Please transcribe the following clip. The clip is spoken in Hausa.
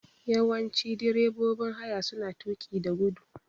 Yawanci direbobin haya suna tuƙi da guda.